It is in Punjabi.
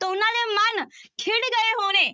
ਤਾਂ ਉਹਨਾਂ ਦੇ ਮਨ ਖਿੱੜ ਗਏ ਹੋਣੇ।